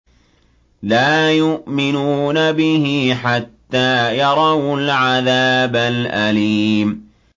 لَا يُؤْمِنُونَ بِهِ حَتَّىٰ يَرَوُا الْعَذَابَ الْأَلِيمَ